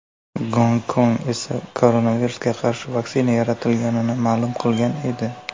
Gonkong esa koronavirusga qarshi vaksina yaratilganini ma’lum qilgan edi.